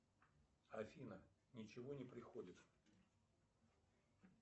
афина ничего не приходит